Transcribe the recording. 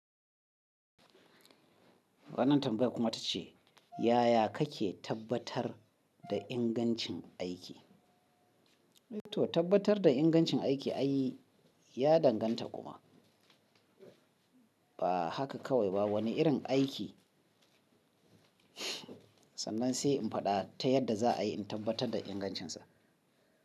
Wannan tambaya kuma ta ce, yaya kake tabbatar da ingancin aiki? To tabbatar da ingancin aiki ayi, ya danganta kuma. Ba haka kawai ba wani irin aiki sannan sai in faɗa ta yadda za a yi in tabbatar da ingancinsa.